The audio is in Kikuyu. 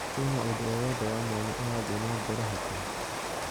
Kwĩna ũndũ o wothe wa mwanya ũrathiĩ na mbere hakuhĩ ?